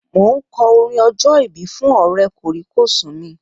Mo ń kọ orin ọjọ́ ìbí fún Ọ̀rẹ́ kòríkòsùn mi